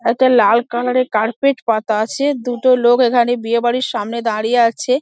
একটা লাল কালার -এর কার্পেট পাতা আছে দুটো লোক এখানে বিয়ে বাড়ির সামনে দাঁড়িয়ে আছে |